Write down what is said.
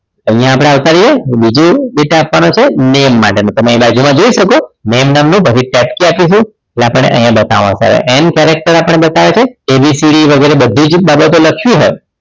અહિયાં આપણે આવતા રહીએ બીજો data આપવાન છે name માટે નો તમે બાજુ માં જોઈ શકો છો name નામનું બધીજ chat આપેલી છે જે આપણ ને અહિયાં બતાવે છે and character આપણે બતાવે છે ABCD વગેરે બધુજ બાબતો લખ્યું જ હોય